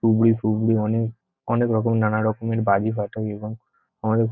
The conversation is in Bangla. তুবড়ি ফুবড়ি অনেক অনেক রকম নানা রকমের বাজি ফাটাই এবং আমাদের--